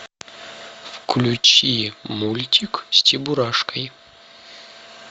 включи мультик с чебурашкой